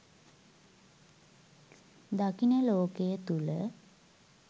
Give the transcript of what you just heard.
දකින ලෝකය තුල